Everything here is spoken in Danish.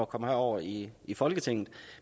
komme herover i i folketinget